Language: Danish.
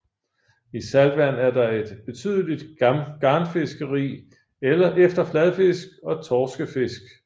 I saltvand er der et betydeligt garnfiskeri efter fladfisk og torskefisk